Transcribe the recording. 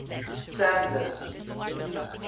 sandler's